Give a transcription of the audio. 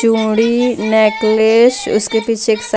चूड़ी निकलेश उसके पीछे एक सा --